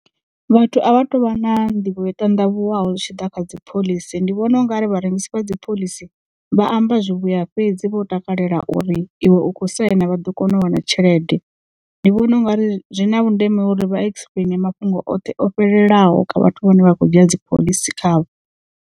Vhathu a vha tu vha na nḓivho yo ṱandavhuwaho zwi tshi ḓa kha dziphoḽisi ndi vhona ungari vharengisi vha dziphoḽisi vha amba zwivhuya fhedzi vho takalela uri iwe u kho saina vha ḓo kona u wana tshelede. Ndi vhona ungari zwi na vhundeme uri vha explain mafhungo oṱhe o fhelelaho kha vhathu vhane vha khou dzhia dziphoḽisi khavho.